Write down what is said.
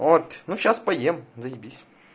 вот ну сейчас поем заибись